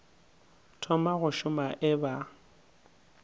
thoma go šoma e ba